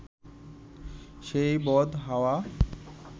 সেই বদ হাওয়া